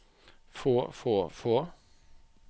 få få få